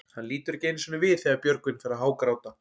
Hann lítur ekki einu sinni við þegar Björgvin fer að hágráta.